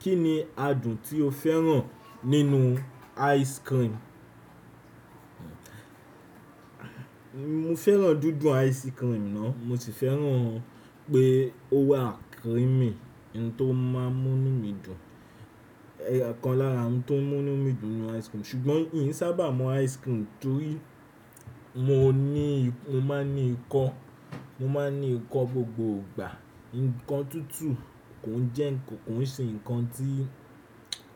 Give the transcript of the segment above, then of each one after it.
Kí ni adùn tí o fẹ́ràn nínú ice cream? Mo fẹ́ràn dúdú ice cream ná. Mo sì fẹ́ràn pé ó wà creamy, ohun tó máa ń mú mí dùn. Ẹ̀yo kan lára ohun tó ń mú mí dùn ninu ice cream. Ṣùgbọ́n ìn sábà mọ ice cream torí mo ní, mo máa ń ní ikọ́, mo máa ń ní ikọ́ gbogbo ìgbà. Ǹkan tútù kò ń jẹ́ ǹkan, kò ń ṣe ǹkan tí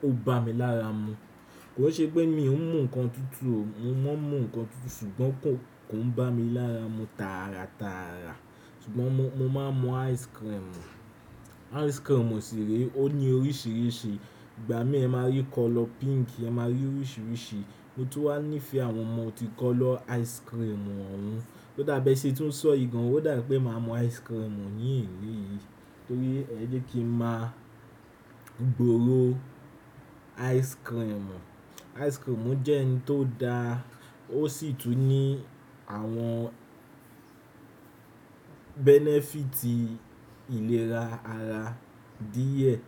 ó bá mi lára mu. Kò fẹ́ ṣe pé mi ò ń mu ǹkan tútù o, mo máa ń mu ǹkan tútù ṣùgbọ́n kò, kò ń bá mi lára mu tára tára. Ṣùgbọ́n mo, mo máa ń mu ice cream. Ice cream òṣèré ó ní oríṣiríṣi. Ìgbà mí ẹ máa rí colour pink, ẹ máa rí oríṣiríṣi. Mo tó wá nífẹ̀ẹ́ àwọn ọmọ ti colour ice cream wọ́n u Ó dàbí ẹṣe tuń sọ ìgàn, ó dà pé màá mu ice cream yìí torí ẹ jẹ́ kí ń máa gbòòrò ice cream. Ice cream jẹ́ ohun tó da, ó sì tún ní àwọn benefit ìlera ara díẹ̀.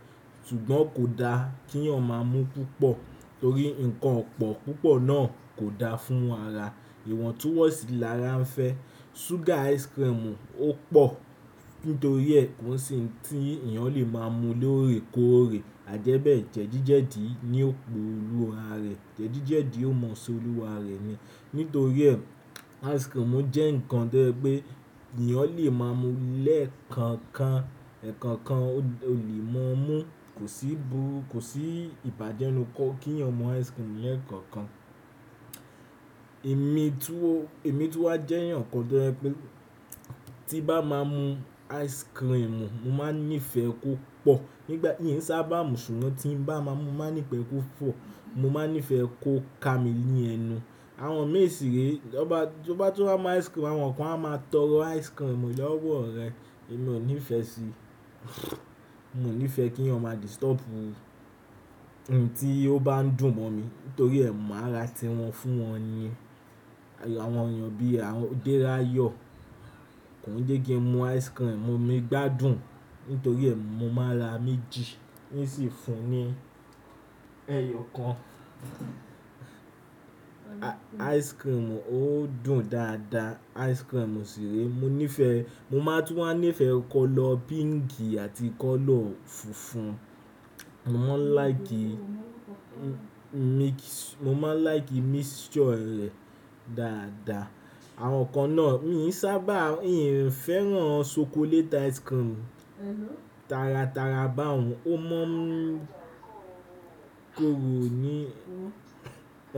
Ṣùgbọ́n kò da kí ènìyàn máa mú púpọ̀ torí ǹkan ọ̀pọ̀ púpọ̀ náà kò da fún ara. Ìwọ̀ntúnwọ̀nsì lára ń fẹ́. Sugar ice cream ò pọ̀. Nítorí ẹ kò se òun ti ènìyàn lè máa mu lóòrèkóòrè. Àdẹ́bẹ́ẹ̀ jẹ̀díjẹ̀dí ni òpó olúwa rẹ̀. Jẹ̀díjẹ̀dí ó mọ ọsẹ olúwa rẹ ni. Nítorí ẹ ice cream jẹ́ ǹkan to je pé ènìyàn lè máa mú lẹ́ẹ̀kan kan. Ẹ̀kọ́ kan o lè máa mú. Kò sí ìbáje ninu kí ènìyàn mú ice cream lẹ́ẹ̀kan kan. Èmi tó, èmi tun wá jẹ́ ẹ̀yàn kan je pé tí bá máa mú ice cream, mo máa ń nífẹ̀ẹ́ kó pọ̀. Nígbà, mi sábà mú ṣùgbọ́n tí ń bá máa mú, màá nífẹ̀ẹ́ kó pọ. Mo máa ń nífẹ̀ẹ́ kó ka mi ní ẹnu. Àwọn mẹ̀sìrẹ́ lọ bá, tọ bá tiwá mú ice cream, àwọn kan á máa tọrọ ice cream lọ́wọ́ ọ rẹ̀. Èmi ò níìfẹ̀ẹ́ sí. Mo ní fẹ́ kí ènìyàn máa disturb ohun tí ó bá ń dùn mọ́ mi nítorí ẹ̀mú àrà tí wọn fún wọn ni. Àwọn ènìyàn bí àwọn Aderayo kò ńjẹ́ kí n mu ice cream, mi gbá dùn nítorí ẹ, mo máa ra méjì, ín sì ń fún ní ẹyọ̀ kan. Ice cream ó dùn dáadáa. Ice cream ṣèré mo nífẹ̀ẹ́, mo máa tún wá nífẹ̀ẹ́ colour pink àti colour funfun. Mo máa ń like mi- mo máa ń like mixture rẹ̀ dáadáa. Àwọn kan náà, mí ì sábà, n fẹ́ràn chocolate ice cream tára tára bá òun. Ó mọ́ mú korò ní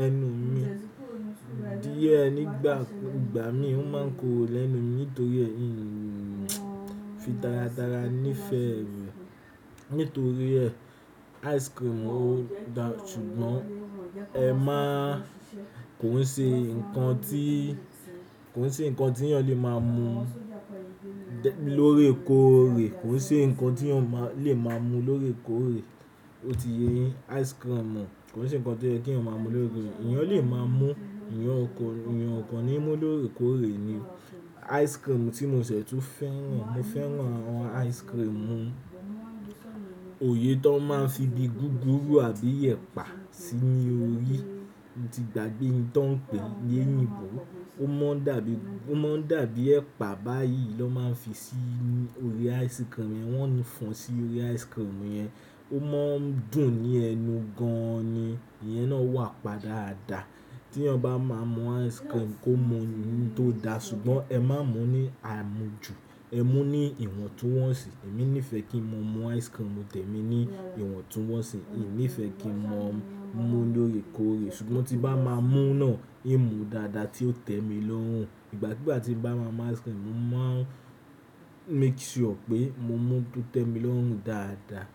ẹnu mi. Díẹ̀ nígbà, ìgbà mí òun máa ń korò lẹ́nu mi nítorí ẹ, ẹn fi tára tára nífẹ̀ẹ́ rẹ̀. Nítorí ẹ ice cream ó da ṣùgbọ́n ẹ máa, kòi ṣe ǹkan tí, kòi ṣe ǹkan tí ènìyàn lè máa mú lọ́rèkóòrè. Kòi ṣe ǹkan tí ènìyàn máa lè máa mú lọ́rèkóòrè. Ó ti ye yín. Ice cream kòi ṣe ǹkan tí ẹ kí ń máa mú lọ́rè. Ẹ̀yàn lè máa mú, ẹ̀yàn kàn, ẹ̀yàn kan ni mú lọ́rèkóòrè ni. Ice cream tí mo ṣẹ̀ tún fẹ́ràn, mo fẹ́ràn àwọn ice cream oye tó máa ń fi di gúgúrú àbí ẹ̀pà sí ní orí. Ó ti gba gbé in tan pè ní eyinbo. Ó máa ń dàbí, ó máa ń dàbí ẹ̀pà báyìí ló máa ń fi sí orí ice cream yẹn. Wọn ní fọn sí orí ice cream yẹn. Ó máa ń dùn ní ẹnu gan-an ni. Ìyẹn náà wà pa dáadáa. Tí ènìyàn bá máa mú ice cream kó mú ohun tó da ṣùgbọ́n ẹ má mú ní àmújù. Ẹ mú ní ìwọ̀ntúnwọ̀nsì. Èmi nífẹ̀ẹ́ kí mo mú ice cream tẹ̀mi ní ìwọ̀ntúnwọ̀nsì. Mi nífẹ̀ẹ́ kí máa mú lóòrèkóòrè ṣùgbọ́n tí bá máa mú náà, èmi mú dáadáa tí ó tẹ́mi lọ́rùn. Ìgbàkúgbà tí mo bá máa mú ice cream, mo máa ń make sure pé mo mú ó tẹ́mi lọ́rùn dáadáa.